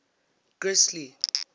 grisly